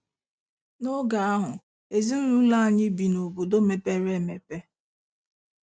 N'oge ahụ, Ezinụlọ anyị bi n'obodo mepere emepe.